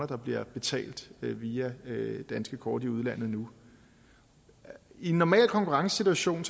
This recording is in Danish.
der bliver betalt via danske kort i udlandet nu i en normal konkurrencesituation